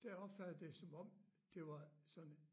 Der opfattede det som om det var sådan en